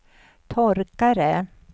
torkare